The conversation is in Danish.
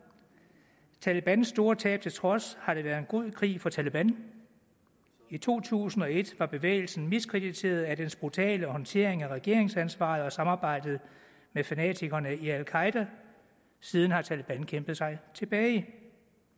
talebans store tab til trods har det været en god krig for taleban i to tusind og et var bevægelsen miskrediteret af dens brutale håndtering af regeringsansvaret og samarbejdet med fanatikerne i al qaeda siden har taleban kæmpet sig tilbage det